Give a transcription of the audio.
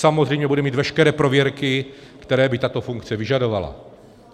Samozřejmě bude mít veškeré prověrky, které by tato funkce vyžadovala.